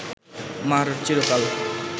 মা’র চিরকাল